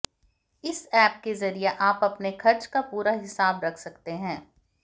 इस एप के जरिए आप अपने खर्च का पूरा हिसाब रख सकते हैं